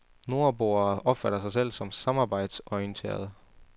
Nordboerne opfatter sig selv som samarbejdsorienterede.